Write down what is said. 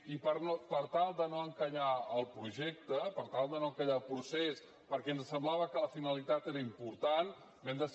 i per tal de no encallar el projecte per tal de no encallar el procés perquè ens semblava que la finalitat era important vam decidir tirar ho endavant